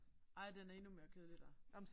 Ej den er endnu mere kedelig der